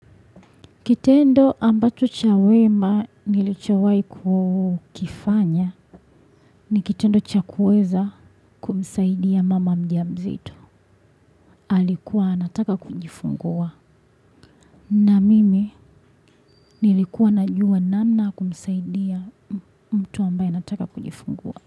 Kitendo ambacho cha wema nilichowahi kufanya ni kitendo cha kuweza kumsaidia mama mja mzito alikuwa anataka kujifungua. Na mimi nilikuwa najua namna ya kumsaidia mtu ambaye anataka kunjifungua.